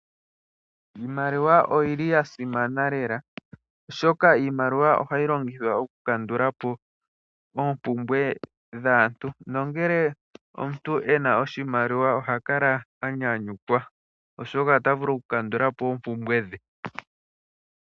Iimaliwa oyili yasimana lela oshoka iimaliwa ohayi longithwa okukandula po oompumbwe dhaantu. Nongele omuntu ena oshimaliwa ohakala anyanyukwa, oshoka otavulu okukandula po oompumbwe dhe.